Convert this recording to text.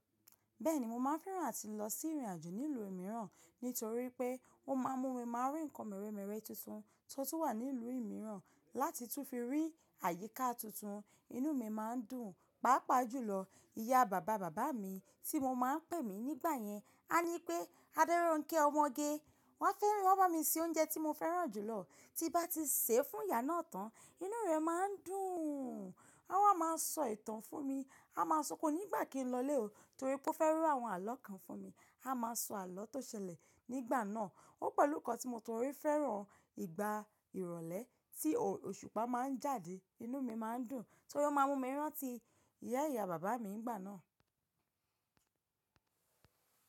Bẹ́ẹ̀ni mo máa ń fẹ́ràn láti lọ sí ìrìn àjò nílùú mìíràn, nítorí pé ó má a mú mi máa rí ǹkan mírẹ̀mírẹ̀ tuntun tó tu wà nílùú mìíràn láti tún fi rí àyíká tuntun. Inú mi má ń dùn, pàápàá jùlọ ìyá bàba bàbá mi tí mo má ń pè mí nígbà yẹn, a ní pé "Adéronkẹ́ ọmọge", wọ́n á fẹ́ràn, wọ́n bá mi se oúnjẹ tí mo fẹ́ràn jùlọ, tí bá ti sè é fún ìyá náà tán, inú rẹ̀ má ń dùn. Wọ́n a máa sọ ìtàn fún mi, a máa sọ pé kó nígbà kí n lọlé o, torí pé ó fẹ́ ro àwọn àlọ́ kan fún mi. A máa sọ àlọ́ tó ṣẹlẹ̀ nígbà náà. Ó pẹ̀lú nǹkan tí mo torí fẹ́ràn ìgbà ìrọ̀lẹ́ tí òṣùpá má ń jáde, inú mi má ń dùn. Torí ó má ń mú mi rántí ìyá ìyá bàbá mi nígbà náà.